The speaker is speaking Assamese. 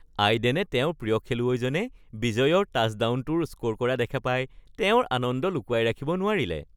আইডেনে তেওঁৰ প্ৰিয় খেলুৱৈজনে বিজয়ৰ টাচডাউনটোৰ স্ক’ৰ কৰা দেখা পাই তেওঁৰ আনন্দ লুকুৱাই ৰাখিব নোৱাৰিলে